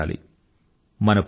ఉత్సాహమూ ఉండాలి